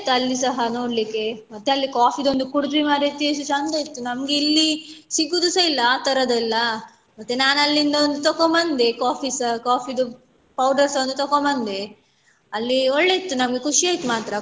ಅಲ್ಲಿ ಸಹ ನೋಡ್ಲಿಕ್ಕೆ ಮತ್ತೆ ಅಲ್ಲಿ coffee ಒಂದು ಕುಡ್ದ್ವಿ ಮಾರೈತಿ ಎಷ್ಟು ಚಂದ ಇತ್ತು ನಮ್ಗೆ ಇಲ್ಲಿ ಸಿಗುದುಸ ಇಲ್ಲ ಅತರದೆಲ್ಲಾ ಮತ್ತೆ ನಾನ್ ಅಲ್ಲಿಂದ ಒಂದ್ ತೊಕೊಂಬಂದೆ coffee ಸ coffee ದು powder ಸ ಒಂದು ತೊಕೊಂಬಂದೆ ಅಲ್ಲಿ ಒಳ್ಳೆ ಇತ್ತು ನಮಗೆ ಖುಷಿ ಆಯ್ತು ಮಾತ್ರ.